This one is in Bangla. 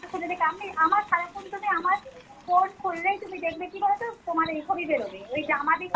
আমি আমার সারা phone তুমি আমার phone খুললেই তুমি দেখবে কী বলতো তোমার ঐ ছবি বের হবে, ঐ জামা